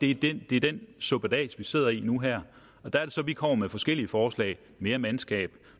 er det det er den suppedas man sidder i nu her og der er det så vi kommer med forskellige forslag mere mandskab